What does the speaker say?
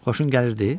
Xoşun gəlirdi?